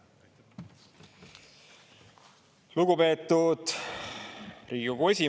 Lugupeetud Riigikogu esimees!